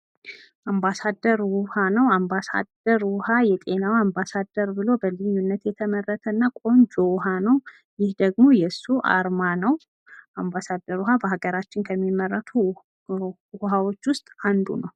አምባሳደር ውሃ ነው። አምባሳደር ውሃ የጤና አምባሳደር ብሎ በልዩነት የተመረተ እና ቆንጆ ውሃ ነው። ይህ ደግሞ የሱ አርማ ነው። አምባሳደር ውሃ በሀገራችን ከሚመረቱ ውሃዎች ውስጥ አንዱ ነው።